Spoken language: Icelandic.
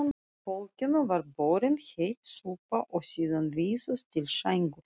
Fólkinu var borin heit súpa og síðan vísað til sængur.